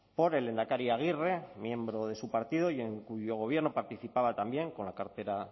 por el lehendakari aguirre miembro de su partido y en cuyo gobierno participaba también con la cartera